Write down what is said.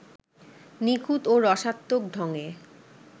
নিখুঁত ও রসাত্মক ঢংয়ে